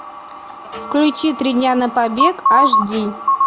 включи три дня на побег аш ди